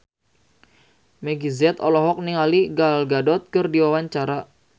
Meggie Z olohok ningali Gal Gadot keur diwawancara